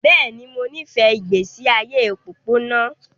Bẹ́ẹ̀ ni, mo nífẹ̀ẹ́ ìgbésí ayé òpópónà